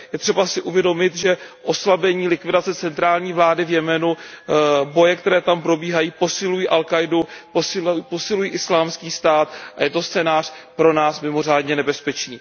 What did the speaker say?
Je třeba si uvědomit, že oslabení či likvidace centrální vlády v Jemenu, boje, které tam probíhají, posilují al Káidu, posilují Islámský stát a je to scénář pro nás mimořádně nebezpečný.